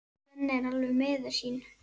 Svenni er alveg miður sín.